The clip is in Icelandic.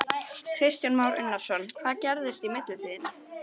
Kristján Már Unnarsson: Hvað gerðist í millitíðinni?